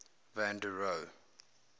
van der rohe